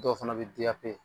Dɔw fana bɛ D.A.P